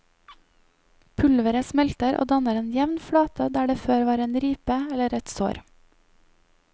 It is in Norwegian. Pulveret smelter og danner en jevn flate der det før var en ripe eller et sår.